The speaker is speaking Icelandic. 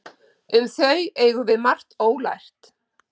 Um þau eigum við margt ólært.